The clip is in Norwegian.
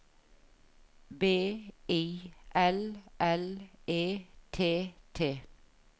B I L L E T T